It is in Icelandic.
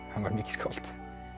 hann var mikið skáld